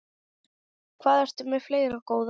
Hvað ertu með fleira, góða?